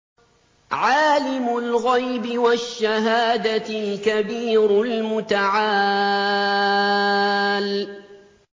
عَالِمُ الْغَيْبِ وَالشَّهَادَةِ الْكَبِيرُ الْمُتَعَالِ